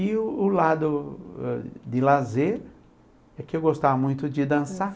E o o lado de lazer é que eu gostava muito de dançar.